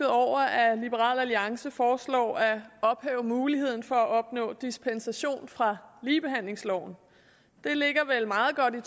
over at liberal alliance foreslår at ophæve muligheden for at opnå dispensation fra ligebehandlingsloven det ligger meget godt i